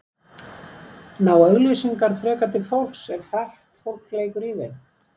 ná auglýsingar frekar til fólks ef frægt fólk leikur í þeim